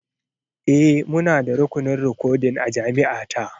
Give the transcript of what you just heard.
E, muna da rukunin rikodin a jami’a ta.